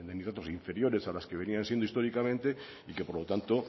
de nitratos inferiores a las que venían siendo históricamente y por lo tanto